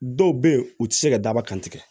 Dɔw bɛ yen u tɛ se ka dababa kan tigɛ